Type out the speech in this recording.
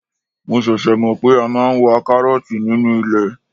Mo ṣẹ̀ṣẹ̀ mọ̀ pé a máa ń wa karooti nínú ilẹ̀.